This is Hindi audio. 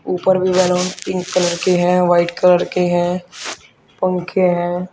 ऊपर भी बैलून पिंक कलर के हैं व्हाइट कलर के हैं पंखे हैं।